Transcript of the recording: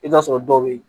I bɛ t'a sɔrɔ dɔw bɛ yen